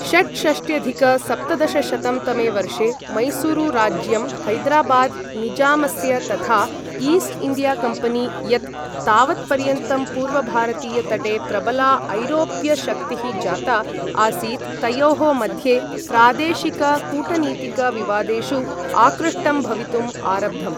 षट्षष्ट्यधिक सप्तदशशतं तमे वर्षे मैसूरुराज्यं, हैदराबाद् निजामस्य तथा ईस्ट् इण्डिया कम्पनी यत् तावत्पर्यन्तं पूर्वभारतीयतटे प्रबला ऐरोप्यशक्तिः जाता आसीत् तयोः मध्ये प्रादेशिक कूटनीतिक विवादेषु आकृष्टं भवितुम् आरब्धम्।